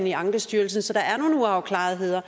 i ankestyrelsen så der er nogle uafklarede